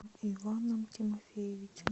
иваном тимофеевичем